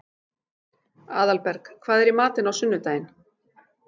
Aðalberg, hvað er í matinn á sunnudaginn?